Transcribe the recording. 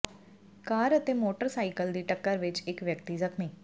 ਕਾਰ ਅਤੇ ਮੋਟਰਸਾਈਕਲ ਦੀ ਟੱਕਰ ਵਿਚ ਇਕ ਵਿਅਕਤੀ ਜ਼ਖ਼ਮੀ